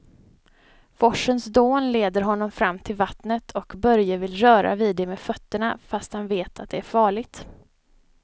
Forsens dån leder honom fram till vattnet och Börje vill röra vid det med fötterna, fast han vet att det är farligt.